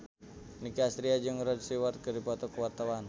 Nicky Astria jeung Rod Stewart keur dipoto ku wartawan